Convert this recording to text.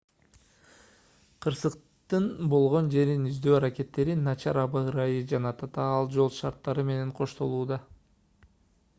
кырсыктын болгон жерин издөө аракеттери начар аба ырайы жана татаал жол шарттары менен коштолууда